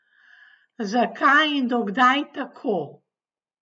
Zakaj in do kdaj tako?